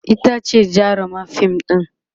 itace jarumar fim ɗin